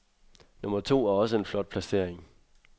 Nummer to er også en flot placering.